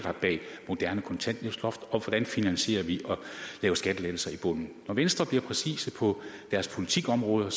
bag et moderne kontanthjælpsloft og for hvordan det finansieres at lave skattelettelser i bunden når venstre bliver præcise på deres politikområder